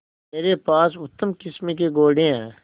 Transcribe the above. मेरे पास उत्तम किस्म के घोड़े हैं